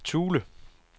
Thule